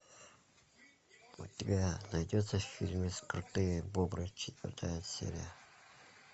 у тебя найдется фильм крутые бобры четвертая серия